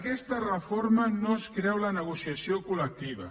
aquesta reforma no es creu la negociació col·lectiva